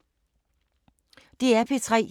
DR P3